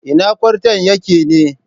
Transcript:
Ina kwarton yake ne?